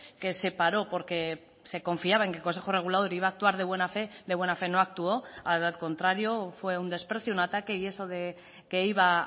que se paró porque se confiaba en que el consejo regulador iba a actuar de buena fe de buena fe no actuó al contrario fue un desprecio un ataque y eso de que iba a